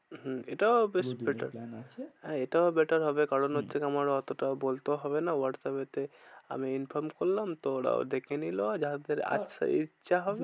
হম এটাও বেশ better plan আছে। এটাও better হবে হম কারণ হচ্ছে তোমার অতটাও বলতেও হবে না হোয়াটস্যাপে তে আমি inform করলাম। তো ওরা দেখেনিল যাদের হ্যাঁ আসার ইচ্ছা হবে